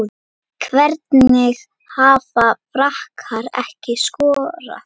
Hvernig hafa Frakkar ekki skorað?